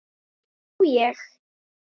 Á ég?